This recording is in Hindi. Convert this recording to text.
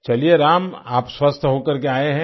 चलिये राम आप स्वस्थ होकर के आये हैं